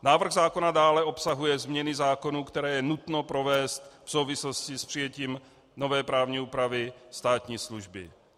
Návrh zákona dále obsahuje změny zákonů, které je nutno provést v souvislosti s přijetím nové právní úpravy státní služby.